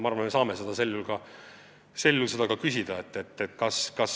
Aga me saame seda küsida.